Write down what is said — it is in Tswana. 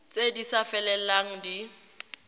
tse di sa felelang di